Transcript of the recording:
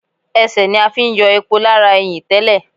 Ẹsẹ̀ ní a fi ń yọ epo lára ẹyìn tẹ́lẹ̀